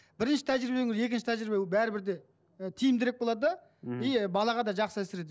бірінші тәжірибе екінші тәжірибе ол бәрібір де і тиімдірік болады да мхм и балаға да жақсы әсер етеді